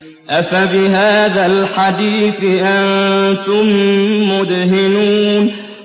أَفَبِهَٰذَا الْحَدِيثِ أَنتُم مُّدْهِنُونَ